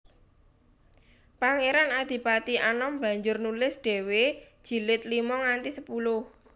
Pangeran Adipati Anom banjur nulis dhéwé jilid lima nganti sepuluh